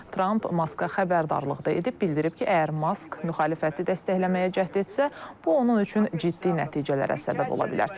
Tramp Maska xəbərdarlıq da edib, bildirib ki, əgər Mask müxalifəti dəstəkləməyə cəhd etsə, bu onun üçün ciddi nəticələrə səbəb ola bilər.